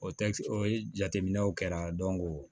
O tɛ o jateminɛw kɛra